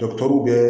bɛ